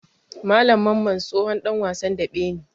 Malam Mamman tsohon ɗan wasan daɓe ne.